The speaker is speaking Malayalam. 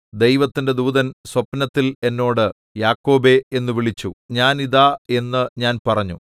ദൈവത്തിന്റെ ദൂതൻ സ്വപ്നത്തിൽ എന്നോട് യാക്കോബേ എന്നു വിളിച്ചു ഞാൻ ഇതാ എന്നു ഞാൻ പറഞ്ഞു